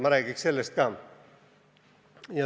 Ma räägiks ka sellest.